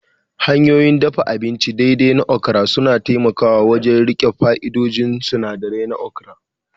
Hanyoyin dafa abinci daidai na okra suna taimakawa wajen riƙe fa'idodin sinadirai na okra